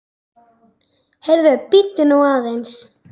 Heyrðu, bíddu nú aðeins!